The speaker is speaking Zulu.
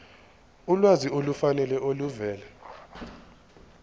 ulwazi olufanele oluvela